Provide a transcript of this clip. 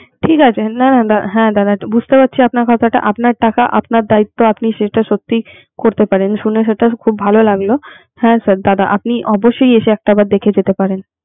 ঠিক আছে দাদা, হ্যা দাদা। বুজতে পারছি আপনার কথা। আপনার টাকা, আপনার দায়িত্ব আপনি সেটা সত্যি এটা করতে পারেন। শুনে খুব ভলো লাগলো। হ্যা দাদা অবশ্যই এসে একটা বার দেখে যেতে পারেন।